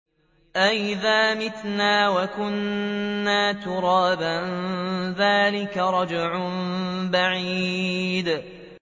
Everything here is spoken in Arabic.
أَإِذَا مِتْنَا وَكُنَّا تُرَابًا ۖ ذَٰلِكَ رَجْعٌ بَعِيدٌ